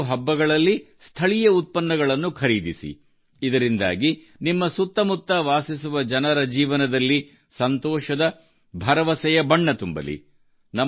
ನೀವು ಹಬ್ಬಗಳಲ್ಲಿ ಸ್ಥಳೀಯ ಉತ್ಪನ್ನಗಳನ್ನು ಖರೀದಿಸಿ ಇದರಿಂದಾಗಿ ನಿಮ್ಮ ಸುತ್ತಮುತ್ತ ವಾಸಿಸುವ ಜನರ ಜೀವನದಲ್ಲಿ ಸಂತೋಷದ ಭರವಸೆಯ ಬಣ್ಣ ತುಂಬಲಿ